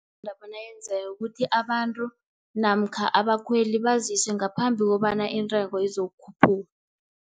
Lapho nayenzekako ukuthi abantu, namkha abakhweli, baziswe ngaphambi kobana intengo izokukhuphuka.